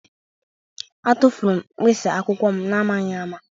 Atụfuru m mkpịsị akwụkwọ m n'amaghị ama